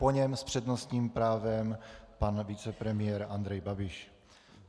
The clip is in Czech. Po něm s přednostním právem pan vicepremiér Andrej Babiš.